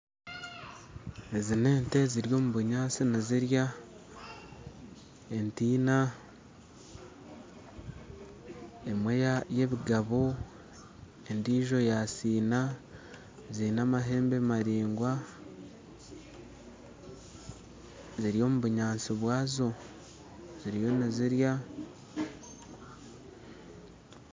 Ezi na ente ziri omu bunyaatsi nizirya ente ina emwe ya ebigabo endijo ya sina zina amahembe maringwa ziri omu bunyaatsi bwazo ziriyo nizirya